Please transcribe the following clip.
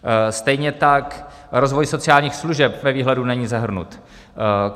Stejně tak rozvoj sociálních služeb ve výhledu není zahrnut.